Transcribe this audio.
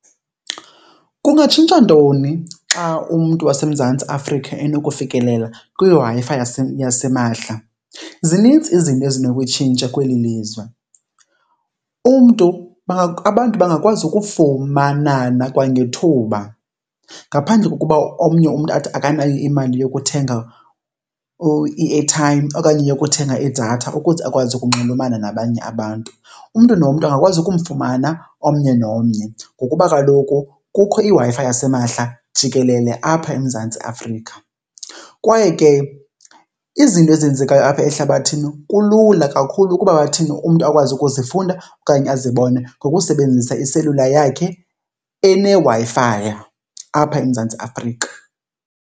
Kungatshintsha ntoni xa umntu waseMzantsi Afrika enokufikelela kwiWi-Fi yasimahla? Zinintsi izinto ezinokutshintsha kweli lizwe. Umntu , abantu bangakwazi ukufumanana kwangethuba ngaphandle kokuba omnye umntu athi akanayo imali yokuthenga i-airtime okanye yokuthenga idatha ukuze akwazi ukunxulumana nabanye abantu. Umntu nomntu angakwazi ukumfumana omnye nomnye ngokuba kaloku kukho iWi-Fi yasimahla jikelele apha eMzantsi Afrika. Kwaye ke izinto ezenzekayo apha ehlabathini kulula kakhulu ukuba bathini, umntu akwazi ukuzifunda okanye azibone ngokusebenzisa iselula yakhe eneWi-Fi apha eMzantsi Afrika.